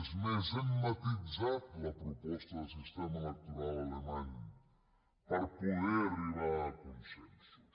és més hem matisat la proposta de sistema electoral alemany per poder arribar a consensos